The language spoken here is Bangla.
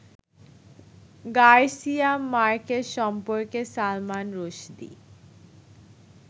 গার্সিয়া মার্কেস সম্পর্কে সালমান রুশদি